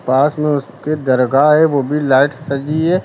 पास में उसके दरगाह है वो भी लाइट सजी है।